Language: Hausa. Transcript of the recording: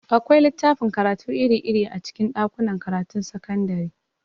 Akwai littafin karatu iri-iri a cikin ɗakunan karatun sakandare.